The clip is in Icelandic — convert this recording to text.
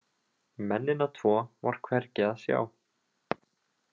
Mennina tvo var hvergi að sjá.